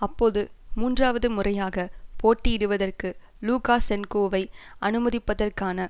அப்போது மூன்றாவது முறையாக போட்டியிடுவதற்கு லூக்காசென்கோவை அனுமதிப்பதற்கான